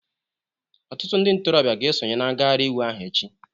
Ọtụtụ ndị ntorobịa ga-esonye na ngagharị iwe ahụ echi